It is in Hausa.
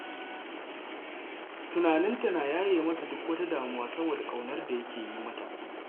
Tunanin ta na yaye masa duk wata damuwa saboda ƙaunar da yake yi mata.